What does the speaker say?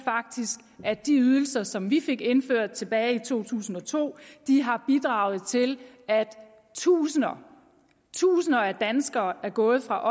at de ydelser som vi fik indført tilbage i to tusind og to har bidraget til at tusinder tusinder af danskere er gået fra